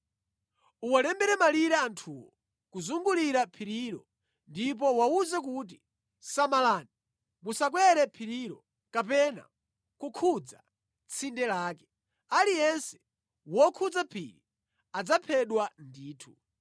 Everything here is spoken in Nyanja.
Uwalembere malire anthuwo kuzungulira phirilo ndipo uwawuze kuti, ‘Samalani musakwere phirilo kapena kukhudza tsinde lake. Aliyense wokhudza phiri adzaphedwa ndithu.